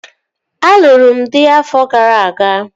Alụrụ m dị afọ gara aga